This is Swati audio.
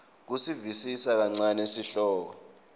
kusivisisa kancane sihloko